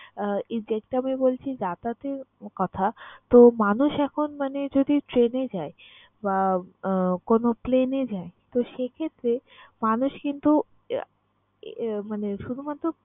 আহ exact আমি বলছি যাতায়াতের কথা। তো, মানুষ এখন মানে যদি train এ যায় বা আহ কোন plane এ যায় তো সে ক্ষেত্রে মানুষ কিন্তু আহ মানে শুধুমাত্র